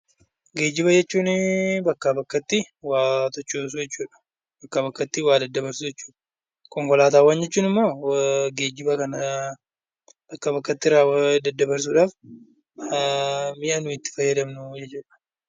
Geejjiba jechuun bakkaa bakkatti waa sochoosuu jechuudha. Bakkaa bakkatti waa daddabarsuu jechuudha. Konkolaataawwan jechuun ammoo geejjiba kan bakkaa bakkatti daddabarsuudhaaf mi'a nuyi itti fayyadamnu jechuudha.